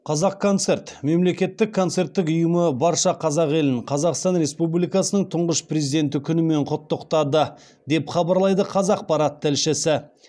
қазақконцерт мемлекеттік концерттік ұйымы барша қазақ елін қазақстан республикасының тұңғыш президенті күнімен құттықтады деп хабарлайды қазақпарат тілшісі